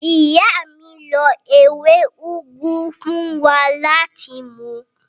Ìyá mi lo ewé úgú fún wa láti mu.